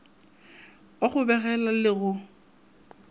wa go begela le go